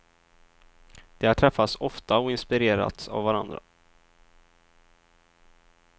De har träffats ofta och inspirerats av varandra.